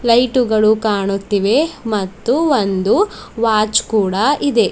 ಲೈಟುಗಳು ಕಾಣುತ್ತಿವೆ ಮತ್ತು ಒಂದು ವಾಚ್ ಕೂಡ ಇದೆ.